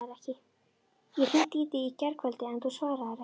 Ég hringdi í þig í gærkvöldi, en þú svaraðir ekki.